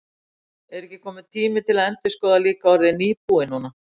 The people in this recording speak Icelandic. Er ekki kominn tíminn til að endurskoða líka orðið nýbúi núna?